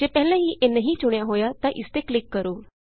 ਜੇ ਪਹਿਲਾਂ ਹੀ ਇਹ ਨਹੀਂ ਚੁਣਿਆ ਹੋਇਆ ਤਾਂ ਇਸ ਤੇ ਕਲਿਕ ਕਰੋ